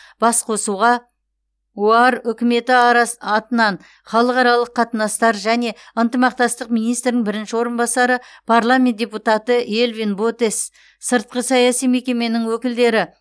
басқосуға оар үкіметі арас атынан халықаралық қатынастар және ынтымақтастық министрінің бірінші орынбасары парламент депутаты элвин ботес сыртқы саяси мекеменің өкілдері